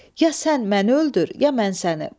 Ya sən məni öldür, ya mən səni.